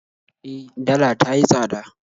E, dala ta yi tsada